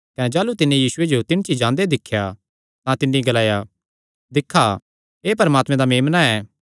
कने जाह़लू तिन्नी यीशुये जो तिणछी जांदे दिख्या तां तिन्नी ग्लाया दिक्खा एह़ परमात्मे दा मेम्ना ऐ